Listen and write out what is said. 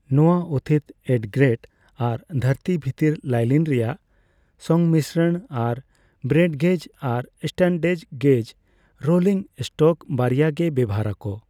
ᱱᱚᱣᱟ ᱩᱛᱷᱤᱛ, ᱮᱴᱼᱜᱨᱮᱴ ᱟᱨ ᱫᱷᱟᱨᱛᱤ ᱵᱷᱤᱛᱤᱨ ᱞᱟᱭᱞᱤᱱ ᱨᱮᱭᱟᱜ ᱥᱚᱝᱢᱤᱥᱚᱱ ᱟᱨ ᱵᱨᱚᱰᱜᱮᱡ ᱟᱨ ᱥᱴᱟᱱᱰᱮᱡ ᱜᱮᱡ ᱨᱳᱞᱤᱝ ᱮᱥᱴᱚᱠ ᱵᱟᱨᱭᱟ ᱜᱮ ᱵᱮᱣᱦᱟᱨ ᱟᱠᱚ ᱾